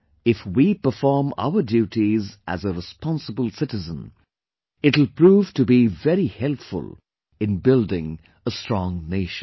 If we perform our duties as a responsible citizen, it will prove to be very helpful in building a strong nation